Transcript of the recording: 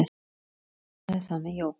Allt byrjaði það með jóga.